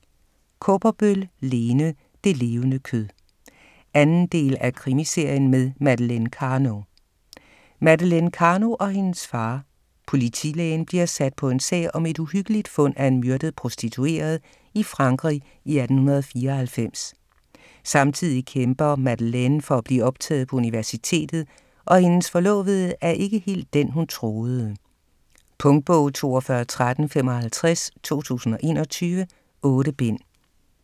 Kaaberbøl, Lene: Det levende kød 2. del af Krimiserien med Madeleine Karno. Madeleine Karno og hendes far, politilægen, bliver sat på en sag om et uhyggeligt fund af en myrdet prostitueret i Frankrig i 1894. Samtidig kæmper Madeleine for at blive optaget på universitetet, og hendes forlovede er ikke helt den, hun troede. Punktbog 421355 2021. 8 bind.